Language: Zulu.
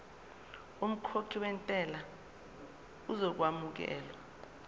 umkhokhi wentela uzokwamukelwa